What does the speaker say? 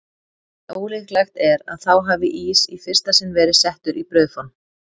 En ólíklegt er að þá hafi ís í fyrsta sinn verið settur í brauðform.